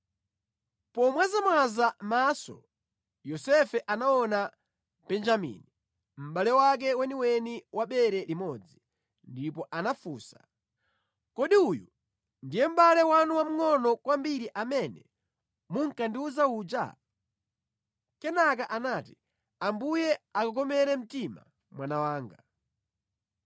Pomwazamwaza maso Yosefe anaona Benjamini, mʼbale wake weniweni wa bere limodzi, ndipo anafunsa, “Kodi uyu ndiye mʼbale wanu wamngʼono kwambiri amene munkandiwuza uja?” Kenaka anati, “Ambuye akukomere mtima mwana wanga.”